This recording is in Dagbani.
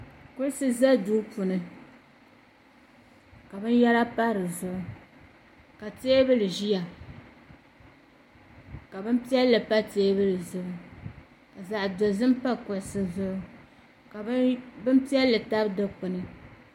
Kuɣusi za duu puuni ka binyara pa dizuɣu ka teebuli ʒia ka binpiɛlli pa teebuli zuɣu zaɣa dozim pa kuɣusi zuɣu ka binpiɛlli tabi dikpini.